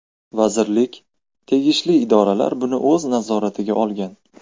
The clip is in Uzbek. Vazirlik, tegishli idoralar buni o‘z nazoratiga olgan.